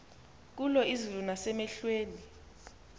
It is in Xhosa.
kulo izulu nasemehlweni